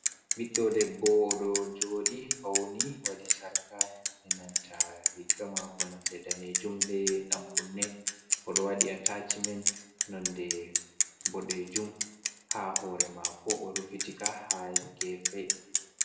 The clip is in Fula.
Ɓiɗɗo debbo ɗo jooɗi fauni waɗi sarka enananta riga maako nonde danejum be ɗankunne oɗo waɗi atachimen nonde ɓoɗejum ha hore maako o rufitika ha gefe.